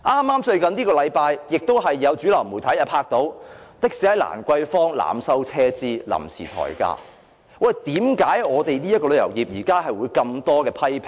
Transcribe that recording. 就是在這個星期，有主流媒體拍攝到有的士在蘭桂坊濫收車資、即時提高收費，為何現時旅遊業受到這麼多批評呢？